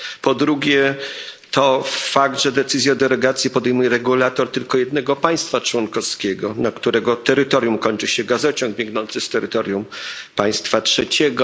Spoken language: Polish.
Po drugie fakt, że decyzję o derogacji podejmuje regulator tylko jednego państwa członkowskiego, na którego terytorium kończy się gazociąg biegnący z terytorium państwa trzeciego.